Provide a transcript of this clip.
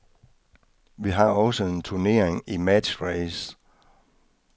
Vi har også en turnering i matchrace.